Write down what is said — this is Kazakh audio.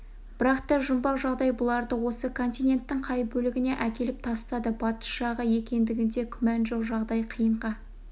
бірақ та жұмбақ жағдай бұларды осы континенттің қай бөлегіне әкеліп тастады батыс жағы екендігінде күмән жоқ жағдай қиынға